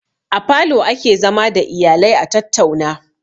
A falo ake zama da iyalaia tattauna